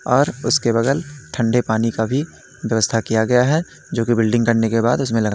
और उसके बगल ठंडे पानी का भी व्यवस्था किया गया है जोकि करने के बाद उसमे--